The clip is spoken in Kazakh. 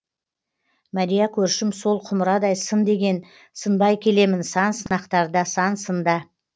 мәрия көршім сол құмырадай сын деген сынбай келемін сан сынақтарда сан сында